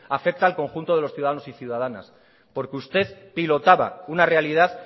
afecta al conjunto de los ciudadanos y ciudadanas porque usted pilotaba una realidad